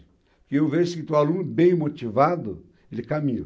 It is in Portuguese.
Porque eu vejo que que o aluno bem motivado, ele caminha.